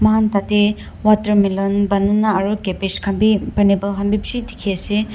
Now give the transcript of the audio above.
mohan tatey watermelon banana aru cabbage khan bi pineapple khan bi bishi dikhi ase.